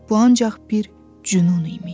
Bu ancaq bir cünun imiş.